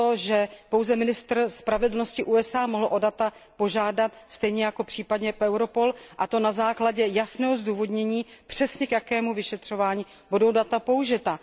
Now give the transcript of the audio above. to, že pouze ministr spravedlnosti USA mohl o data požádat stejně jako případně Europol, a to na základě jasného zdůvodnění k jakému vyšetřování budou data použita.